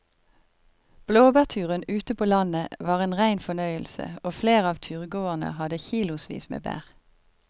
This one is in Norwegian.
Blåbærturen ute på landet var en rein fornøyelse og flere av turgåerene hadde kilosvis med bær.